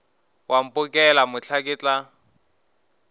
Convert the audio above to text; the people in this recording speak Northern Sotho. wa mphokela mohla ke tla